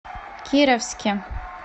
кировске